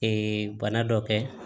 bana dɔ kɛ